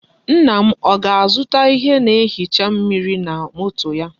Nna m o ga-azuta ihe na-ehicha mmiri na moto ya.